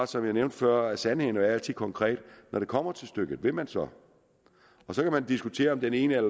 som jeg nævnte før sandheden er jo altid konkret når det kommer til stykket vil man så så kan man diskutere om det ene og